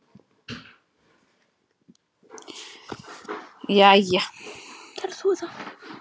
Svo fór hún að gráta.